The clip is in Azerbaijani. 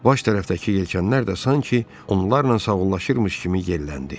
Baş tərəfdəki yelkanlar da sanki onlarla sağollaşırmış kimi yelləndi.